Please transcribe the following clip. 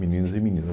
Meninos e meninas.